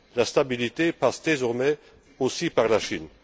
La stabilité passe désormais aussi par la Chine.